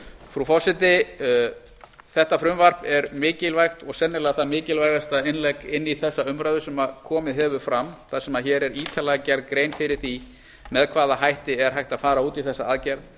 frú forseti þetta frumvarp er mikilvægt og sennilega það mikilvægasta innlegg inn í þessa umræðu sem komið hefur fram þar sem hér er ítarlega gerð grein fyrir því með hvaða hætti er hægt að fara út í þessa aðgerð